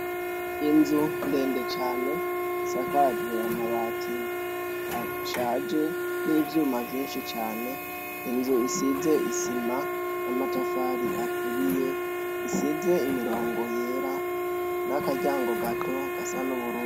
Inzu ndende cane isakajwe amabati ashaje n'ivyuma vyinshi cane, inzu isize isima n'amatafari aturiye, isize imirongo yera n'akaryango gato gasa n'ubururu.